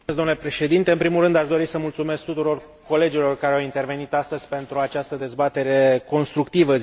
Mulțumesc domnule președinte. În primul rând, aș dori să mulțumesc tuturor colegilor care au intervenit astăzi în această dezbatere constructivă.